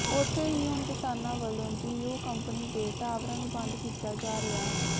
ਉੱਥੇ ਹੀ ਹੁਣ ਕਿਸਾਨਾਂ ਵਲੋਂ ਜੀਓ ਕੰਪਨੀ ਦੇ ਟਾਵਰਾਂ ਨੂੰ ਬੰਦ ਕੀਤਾ ਜਾ ਰਿਹਾ ਹੈ